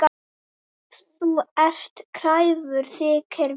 Þú ert kræfur, þykir mér.